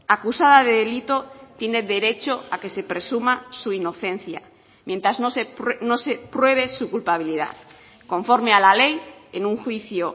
acusada de delito tiene derecho a que se presuma su inocencia mientras no se pruebe su culpabilidad conforme a la ley en un juicio